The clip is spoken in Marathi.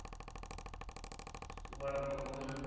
वडापाव खाऊ ना.